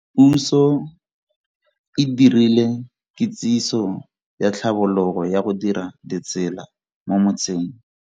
Puso e dirile kitsiso ya tlhabologo ya go dira ditsela mo motseng.